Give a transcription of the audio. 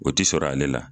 O ti sɔrɔ ale la